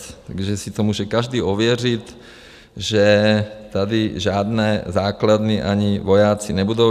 Takže si to může každý ověřit, že tady žádné základny ani vojáci nebudou.